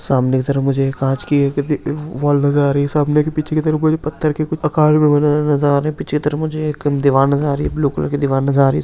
सामने की तरफ मुझे एक कांच की एक द-वाल नजर आ रही है सामने की पीछे की तरफ मुझे पत्थर के कुछ मकान भी बने हुए नजर आ रहे हैं पीछे की तरफ मुझे एक दीवाल नजर आ रही है ब्लू कलर की दीवाल नजर आ रही है।